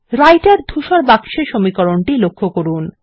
রাইটের ধূসর বাক্সে সমীকরণটি লক্ষ্য করুন